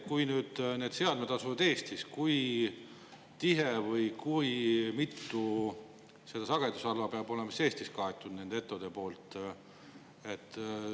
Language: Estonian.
Kui need seadmed asuvad Eestis, siis kui mitu sagedusala peavad need ettevõtjad siis Eestis katma?